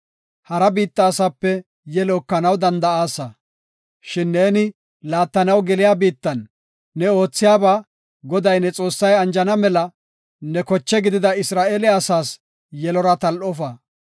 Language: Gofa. Hara biitta asape yelo ekanaw danda7aasa; shin neeni laattanaw geliya biittan ne oothiyaba Goday, ne Xoossay anjana mela ne koche gidida Isra7eele asaas yelora tal7ofa.